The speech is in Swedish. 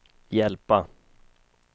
hjälpa